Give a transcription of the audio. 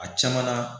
A caman na